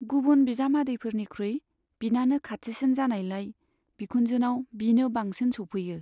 गुबुन बिजामादैफोरनिख्रुइ बिनानो खाथिसिन जानायलाय बिखुनजोनाव बिनो बांसिन सौफैयो।